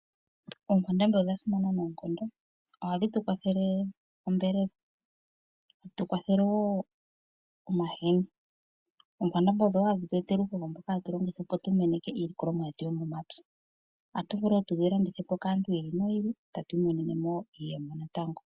Oonkwandambi odha simana noonkondo. Ohadhi tu kwathele onyama. Tadhi tukwathele wo omahini. Oonkwandambi odho ngaa hadhi tweetele uuhoho mboka hatu longitha opo tu meneke iilikolomwa yetu yomomapya. Ohatu vulu wo tudhi landithe po kaantu yi ili noyi ili eta tu imonene mo iiyemo natango.